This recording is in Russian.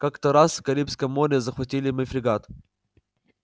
как-то раз в карибском море захватили мы фрегат